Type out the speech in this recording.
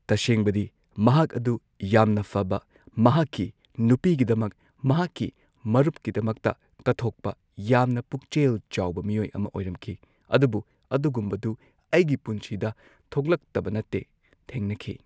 ꯇꯁꯦꯡꯕꯗꯤ ꯃꯍꯥꯛ ꯑꯗꯨ ꯌꯥꯝꯅ ꯐꯕ ꯃꯍꯥꯛꯀꯤ ꯅꯨꯄꯤꯒꯤꯗꯃꯛ ꯃꯍꯥꯛꯀꯤ ꯃꯔꯨꯞꯀꯤꯗꯃꯛꯇ ꯀꯠꯊꯣꯛꯄ ꯌꯥꯝꯅ ꯄꯨꯛꯆꯦꯜ ꯆꯥꯎꯕ ꯃꯤꯑꯣꯏ ꯑꯃ ꯑꯣꯏꯔꯝꯈꯤ ꯑꯗꯨꯕꯨ ꯑꯗꯨꯒꯨꯝꯕꯗꯨ ꯑꯩꯒꯤ ꯄꯨꯟꯁꯤꯗ ꯊꯣꯛꯂꯛꯇꯕ ꯅꯠꯇꯦ ꯊꯦꯡꯅꯈꯤ꯫